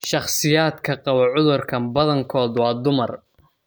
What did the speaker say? Shakhsiyaadka qaba cudurkaan badankood waa dumar.